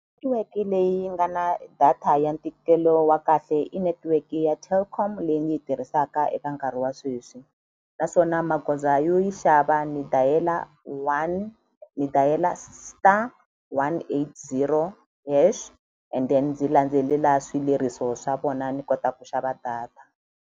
leyi nga na data ya ntikelo wa kahle i netiweke ya Telkom leyi ni yi tirhisaka eka nkarhi wa sweswi naswona magoza yo yi xava ni dial-a one ni dial-a star one eight zero hash and then ndzi landzelela swileriso swa vona ni kota ku xava data.